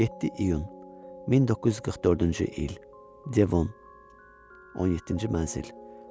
7 iyun 1944-cü il, Devon, 17-ci mənzil.